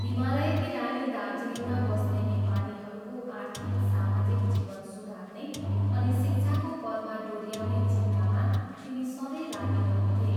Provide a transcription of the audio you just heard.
हिमालयकी रानी दार्जिलिङमा बस्ने नेपालीहरूको आर्थिक, सामाजिक जीवन सुधार्ने अनि शिक्षाको पथमा डोऱ्याउने चिन्तामा तिनी सधैँ लागिरहन्थे।